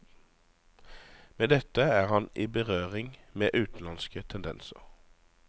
Med dette er han i berøring med utenlandske tendenser.